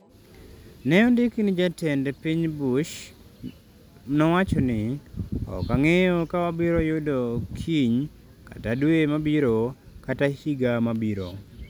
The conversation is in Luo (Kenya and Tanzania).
Ne ondiki ni Jatend piny Bush nowacho ni: “Ok ang’eyo ka wabiro yudo kiny kata dwe mabiro kata higa mabiro.”